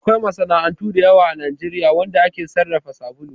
Akwai masana'antu da yawa a Najeriya wanda ake sarrafa sabulu